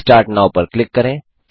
restart now पर click करें